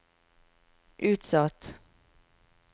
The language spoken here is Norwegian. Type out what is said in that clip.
utsatt